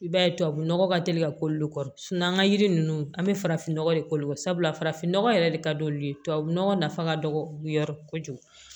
I b'a ye tubabu nɔgɔ ka teli ka k'olu kɔ an ka yiri ninnu an bɛ farafinnɔgɔ de k'olu sabula farafinnɔgɔ yɛrɛ de ka d'olu ye tubabu nɔgɔ nafa ka dɔgɔ yɔrɔ kojugu